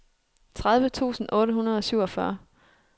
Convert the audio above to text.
tredive tusind otte hundrede og syvogfyrre